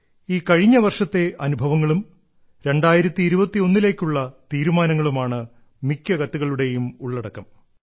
ഈ കഴിഞ്ഞ വർഷത്തെ അനുഭവങ്ങളും 2021 ലേക്കുള്ള തീരുമാനങ്ങളുമാണ് മിക്ക കത്തുകളുടേയും ഉള്ളടക്കം